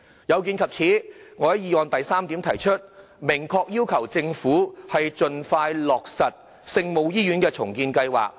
有見及此，我在議案第三點明確要求政府盡快落實聖母醫院重建計劃。